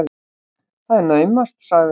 Það er naumast, sagði hún.